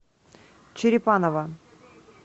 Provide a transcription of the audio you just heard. черепаново